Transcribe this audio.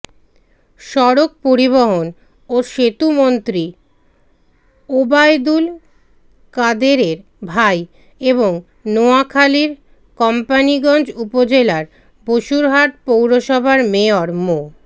সড়ক পরিবহন ও সেতুমন্ত্রী ওবায়দুল কাদেরের ভাই এবং নোয়াখালীর কোম্পানীগঞ্জ উপজেলার বসুরহাট পৌরসভার মেয়র মো